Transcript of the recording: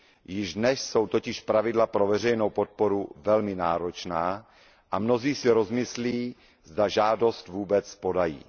Již dnes jsou totiž pravidla pro veřejnou podporu velmi náročná a mnozí si rozmyslí, zda žádost vůbec podají.